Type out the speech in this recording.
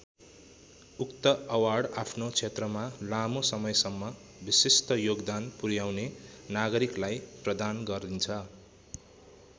उक्त अवार्ड आफ्नो क्षेत्रमा लामो समयसम्म विशिष्ट योगदान पुर्‍याउने नागरिकलाई प्रदान गरिन्छ।